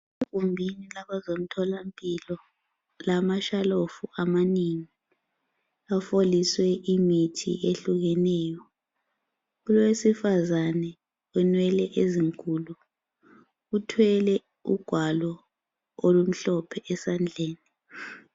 Igumbi labazomtholampilo lamashalofu amanengi, afoliswe imithi ehlukeneyo. Kulowesifazane wenwele ezinkulu, uthwele ugwalo olumhlophe esandleni.